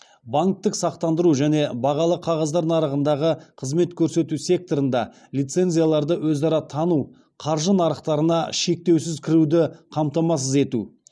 банктік сақтандыру және бағалы қағаздар нарығындағы қызмет көрсету секторында лицензияларды өзара тану қаржы нарықтарына шектеусіз кіруді қамтамасыз ету